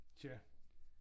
Tja